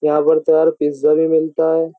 यहाँ पर तो यार पिज़्ज़ा भी मिलता है।